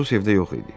Atos evdə yox idi.